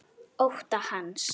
Ótta hans.